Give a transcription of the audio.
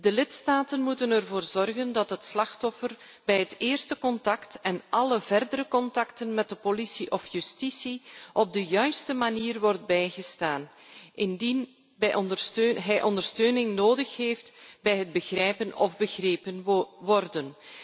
De lidstaten moeten ervoor zorgen dat het slachtoffer bij het eerste contact en alle verdere contacten met de politie of justitie op de juiste manier wordt bijgestaan, indien hij ondersteuning nodig heeft bij het begrijpen of begrepen worden.